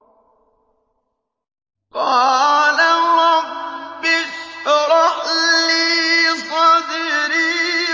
قَالَ رَبِّ اشْرَحْ لِي صَدْرِي